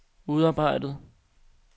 udarbejdet